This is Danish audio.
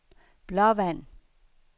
Blåvand